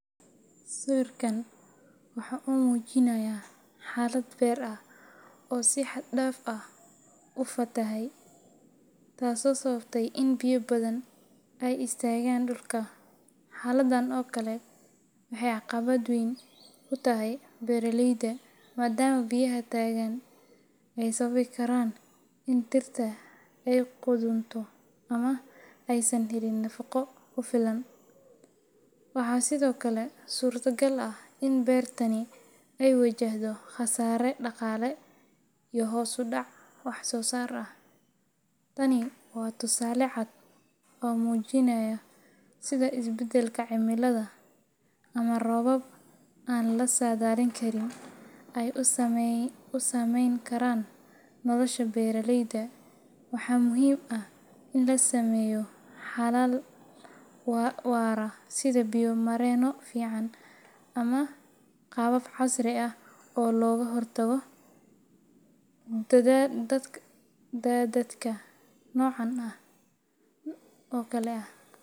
Sawirkan waxa uu muujinayaa xaalad beer ah oo si xad dhaaf ah u fatahay, taasoo sababtay in biyo badan ay istaagaan dhulka. Xaaladdan oo kale waxay caqabad weyn ku tahay beeraleyda, maadaama biyaha taagan ay sababi karaan in dhirta ay qudhunto ama aysan helin nafaqo ku filan. Waxaa sidoo kale suurtagal ah in beertani ay wajahdo khasaare dhaqaale iyo hoos u dhac wax-soosaar ah. Tani waa tusaale cad oo muujinaya sida isbeddelka cimiladu ama roobab aan la saadaalin karin ay u saameyn karaan nolosha beeraleyda. Waxaa muhiim ah in la sameeyo xalal waara sida biyo-mareenno fiican ama qaabab casri ah oo looga hortago daadadka noocan oo kale ah.